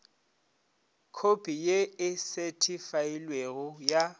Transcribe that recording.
khopi ye e sethifailwego ya